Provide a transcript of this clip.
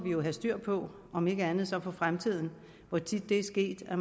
have styr på om ikke andet så for fremtiden hvor tit det er sket at